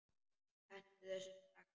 Hentu þessu strax!